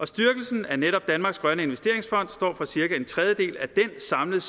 styrkelsen af netop danmarks grønne investeringsfond står for cirka en tredjedel af den samlede